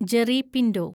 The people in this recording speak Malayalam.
ജെറി പിന്റോ